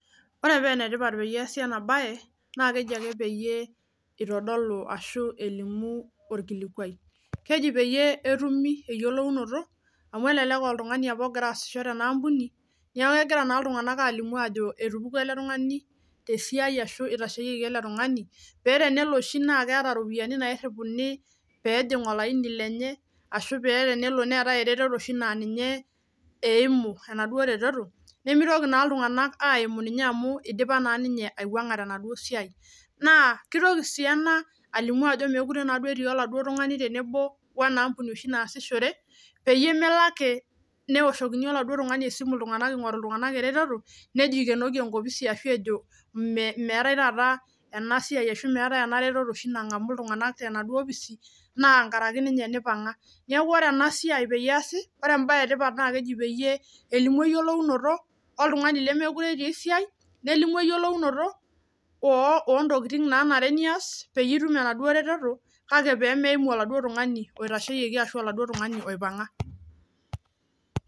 ore paa enetipat peesi ena baye naa keji ake peelimuni orkilikuai amuu ebaki apa naa oltungani obo apa loosisho tena ampuni nepuku tesiai ashu itasheyieki peyiee eyiolouni naa ajoo itashieyieki paa teneeta apa iropiani naagira aajing olaini lenye nitashieyieki naa keliki sii ena ajo meekure etii ele tungani esiai peemookure ake ewoshoki iltunganak esimu ingoru enaduo eretoto eimu enaduoo ampuni nejo ikenoki enkopisi ashuu metii, neeku enetipat naa ena siai amuu kelimu naa pooki toki kake meimu oladuoo tungani oipanga